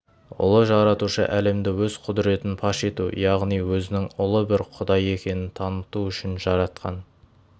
ұлы жаратушы әлемді өз құдіретін паш ету яғни өзінің ұлы бір құдай екенін таныту үшін жаратқан